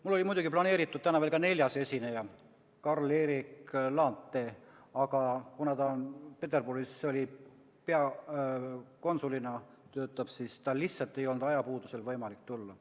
Mul oli planeeritud täna veel ka neljas esineja, Carl Eric Laantee, aga kuna ta töötab Peterburis peakonsulina, siis tal lihtsalt ei olnud ajapuudusel võimalik tulla.